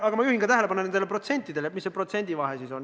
Aga ma juhin tähelepanu ka nendele protsentidele, sellele, mis on protsentide vahe.